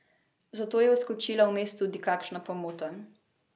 Zato je vskočila vmes tudi kakšna pomota.